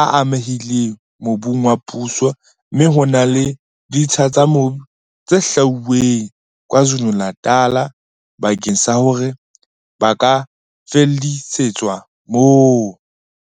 a amehileng mobung wa puso mme ho na le ditsha tsa mobu tse hlwauweng KwaZulu-Natal bakeng sa hore ba ka fallisetswa moo.